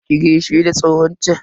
Ki gaishe da tsohon chan?